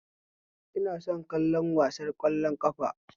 Ina son kallon wasar ƙwallon ƙafa